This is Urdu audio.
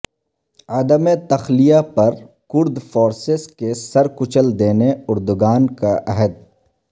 عدم تخلیہ پرکرد فورسیس کے سر کچل دینے اردگان کا عہد